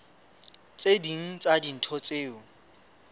tse ding tsa dintho tseo